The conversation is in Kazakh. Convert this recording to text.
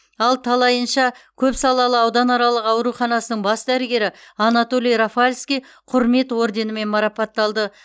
ал талайынша көпсалалы ауданаралық ауруханасының бас дәрігері анатолий рафальский құрмет орденімен марапатталды